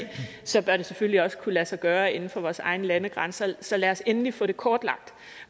så bør det selvfølgelig også kunne lade sig gøre inden for vores egne landegrænser så lad os endelig få det kortlagt